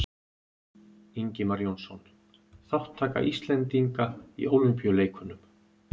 Ingimar Jónsson: Þátttaka Íslendinga í Ólympíuleikunum